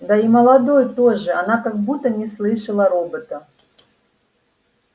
да и молодой тоже она как будто не слышала робота